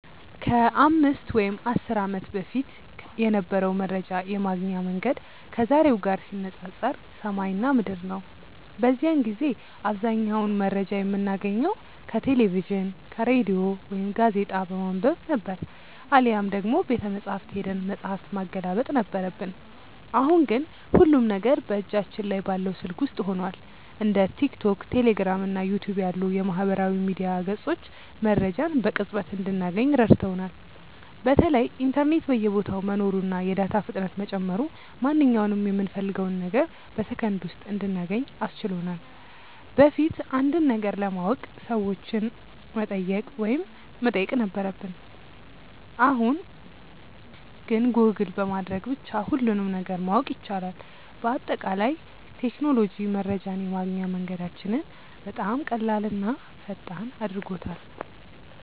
ከ5 ወይም ከ10 ዓመት በፊት የነበረው መረጃ የማግኛ መንገድ ከዛሬው ጋር ሲነፃፀር ሰማይና ምድር ነው። በዚያን ጊዜ አብዛኛውን መረጃ የምናገኘው ከቴሌቪዥን፣ ከሬዲዮ ወይም ጋዜጣ በማንበብ ነበር፤ አሊያም ደግሞ ቤተመጻሕፍት ሄደን መጽሐፍ ማገላበጥ ነበረብን። አሁን ግን ሁሉም ነገር በእጃችን ላይ ባለው ስልክ ውስጥ ሆኗል። እንደ ቲክቶክ፣ ቴሌግራም እና ዩቲዩብ ያሉ የማህበራዊ ሚዲያ ገጾች መረጃን በቅጽበት እንድናገኝ ረድተውናል። በተለይ ኢንተርኔት በየቦታው መኖሩና የዳታ ፍጥነት መጨመሩ ማንኛውንም የምንፈልገውን ነገር በሰከንድ ውስጥ እንድናገኝ አስችሎናል። በፊት አንድን ነገር ለማወቅ ሰዎችን መጠየቅ ወይም መጠበቅ ነበረብን፣ አሁን ግን ጎግል በማድረግ ብቻ ሁሉንም ነገር ማወቅ ይቻላል። በአጠቃላይ ቴክኖሎጂ መረጃን የማግኛ መንገዳችንን በጣም ቀላልና ፈጣን አድርጎታል።